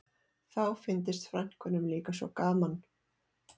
Þá fyndist frænkunum líka svo gaman